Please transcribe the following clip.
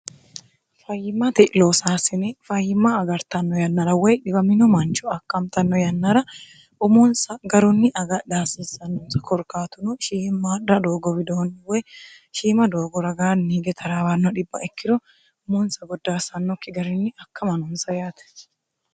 fayyimate loosaasine fayyimma agartanno yannara woy dhiwamino manchu akantanno yannara umonsa garunni agaaha haansiissannonsa korkaatunu shiimmaadda doogo widoonni woy shiima doogo ragaanni hige taraawaanno dhibba ikkiro umunsa goddaassannokki garinni akkama noonsa yaate